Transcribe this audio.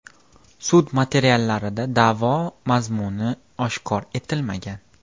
Sud materiallarida da’vo mazmuni oshkor etilmagan.